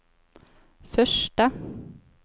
første